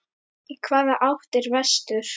Í hvaða átt er vestur?